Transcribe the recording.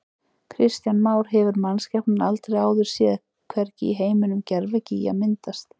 Kristján Már: Hefur mannskepnan aldrei áður séð, hvergi í heiminum, gervigíga myndast?